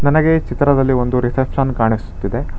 ನನಗೆ ಚಿತ್ರದಲ್ಲಿ ಒಂದು ರಿಸೆಪ್ಶನ್ ಕಾಣಿಸುತ್ತಿದೆ.